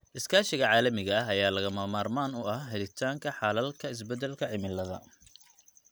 Iskaashiga caalamiga ah ayaa lagama maarmaan u ah helitaanka xalalka isbeddelka cimilada.